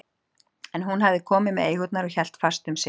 En hún hafði komið með eigurnar og hélt fast um sitt.